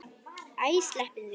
Æ, sleppum því.